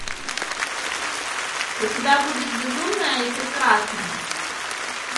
у тебя будет безумная и прекрасная